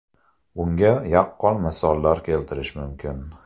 Bunga yaqqol misollar keltirish mumkin.